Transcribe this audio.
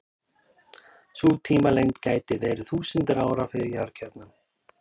Sú tímalengd gæti verið þúsundir ára fyrir jarðkjarnann.